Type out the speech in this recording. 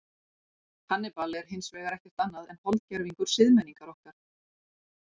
Hannibal er hins vegar ekkert annað en holdgervingur siðmenningar okkar.